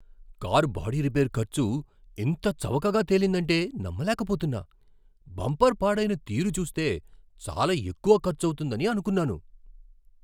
Car body repair ఖర్చు ఇంత చవకగా తేలిందంటే నమ్మలేకపోతున్నా! బంపర్ పాడైన తీరు చూస్తే చాలా ఎక్కువ ఖర్చవుతుందని అనుకున్నాను.